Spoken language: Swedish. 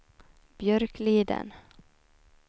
Björkliden